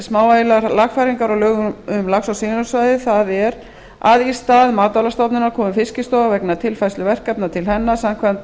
smávægilegar lagfæringar á lögum um lax og silungsveiði það er að í stað matvælastofnunar komi fiskistofa vegna tilfærslu verkefna til hennar samkvæmt